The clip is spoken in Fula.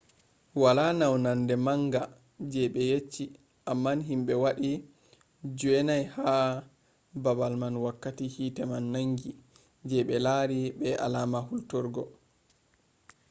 wala naunande manga je be yecci amma himɓe waɗi joowey ha babal man wakkati hite man nangi je be lari be alama hulturgo